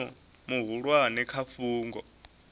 na mushumo muhulwane kha fhungo